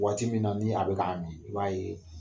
Waati min na ni a bɛ na n'a ye.